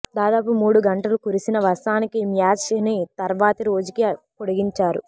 దాదాపు మూడు గంటలు కురిసిన వర్షానికి మ్యాచ్ ని తర్వాతి రోజుకి పొడిగించారు